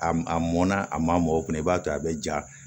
A m a mɔnna a ma mɔ o kunna i b'a to a bɛ ja